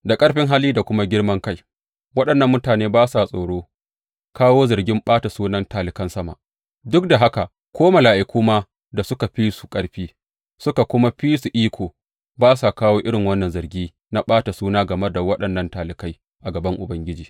Da ƙarfin hali da kuma girman kai, waɗannan mutane ba sa tsoro kawo zargin ɓata sunan talikan sama; duk da haka ko mala’iku ma da suka fi su ƙarfi suka kuma fi su iko, ba sa kawo irin wannan zargi na ɓata suna game da waɗannan talikai a gaban Ubangiji.